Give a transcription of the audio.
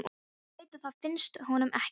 Hún veit að það finnst honum ekki.